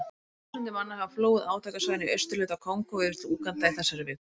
Þúsundir manna hafa flúið átakasvæðin í austurhluta Kongó yfir til Úganda í þessari viku.